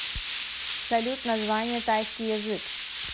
салют название тайский язык